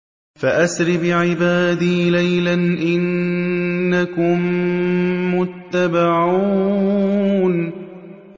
فَأَسْرِ بِعِبَادِي لَيْلًا إِنَّكُم مُّتَّبَعُونَ